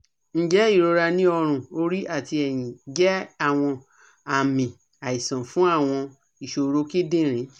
Njẹ irora ni ọrun, ori ati ẹyin, jẹ awọn aami aisan fun awọn iṣoro kidinrin?